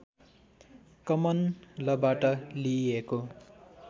common लबाट लिइएको